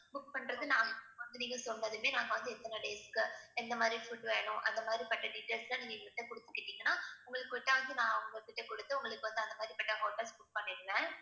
book பண்றது வந்து நீங்க சொன்னதுமே நாங்க வந்து எத்தனை days க்கு எந்த மாதிரி food வேணும் அந்த மாதிரிப்பட்ட details எல்லாம் நீங்க எங்க கிட்ட குடுத்துட்டீங்கனா உங்களுக்கு நான் அவங்ககிட்ட கொடுத்து உங்களுக்கு வந்து அந்த மாதிரிப்பட்ட hotels book பண்ணிடுவேன்